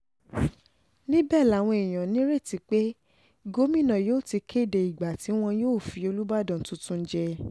níbẹ̀ làwọn èèyàn nírètí pé gómìnà yóò ti kéde ìgbà tí wọn yóò fi olùbàdàn tuntun jẹ